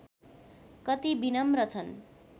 कति विनम्र छन्